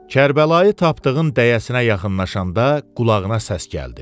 Kərbəlayı tapdığın dəyəsinə yaxınlaşanda qulağına səs gəldi.